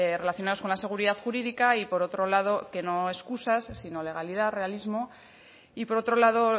relacionados con la seguridad jurídica y por otro lado que no excusas sino legalidad realismo y por otro lado